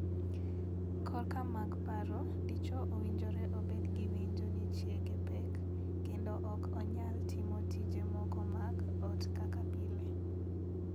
Korka mag paro, dichwo owinjore obed gi winjo ni chiege pek, kendo ok onyal timo tije moko mag ot kaka pile.